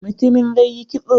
Mutumin zai yi kitso.